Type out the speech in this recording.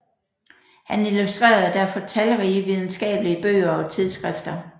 Han illustrerede derfor talrige videnskabelige bøger og tidsskrifter